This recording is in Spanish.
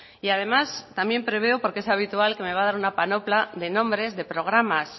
y además también preveo porque es habitual que me va a dar una panopla de nombres de programas